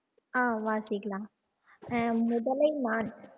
ஆஹ் வாசிக்கலாம் ஆஹ் முதலை மான்